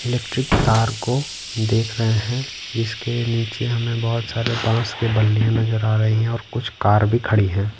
Electric तार को देख रहे हैं जिसके नीचे हमें बहुत सारे बांस के बल्लियां नजर आ रही हैं और कुछ कार भी खड़ी हैं।